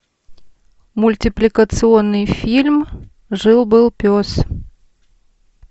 мультипликационный фильм жил был пес